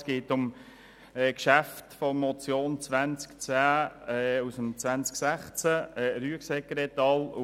Es geht um die Motionen 210-2016 von Rüegsegger et.